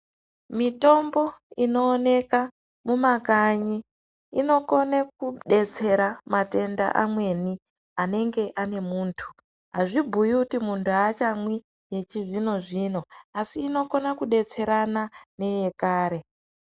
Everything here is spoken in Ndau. Mitombo inooneka mumakanyi inokone kudetsera matenda amweni anenge ane muntu azvibhuyi kuti muntu aachamwi yechizvinozvino asi inonokona kudetserana neyekare.